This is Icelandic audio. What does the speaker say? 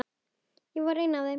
Ég var ein af þeim.